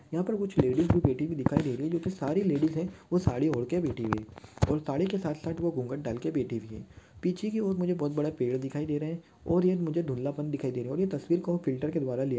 यहा पर कुछ लेडिज भी बैठी हुई दिखाई दे रही है जो की सारी लेडिज है वो साड़ी औरतें बैठी हुई है और साड़ी के साथ-साथ वो घूँघट डालके बैठी हुई है पीछे की ओर मुझे बहुत बड़ा पेड़ दिखाई दे रहे है और ये मुझे धुँधलापन दिखाई दे रहा है और तस्वीर को हम फ़िल्टर के द्वारा लिया --